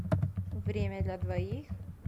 время для двоих